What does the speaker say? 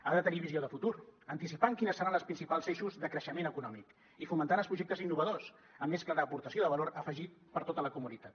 ha de tenir visió de futur anticipant quins seran les principals eixos de creixement econòmic i fomentant els projectes innovadors amb més clara aportació de valor afegit per a tota la comunitat